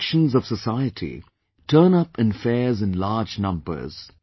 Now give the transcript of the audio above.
All sections of society turn up in fairs in large numbers